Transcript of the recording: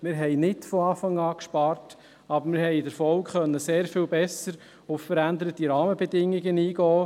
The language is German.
Wir haben nicht von Anfang an gespart, aber wir konnten in der Folge sehr viel besser auf veränderte Rahmenbedingungen eingehen.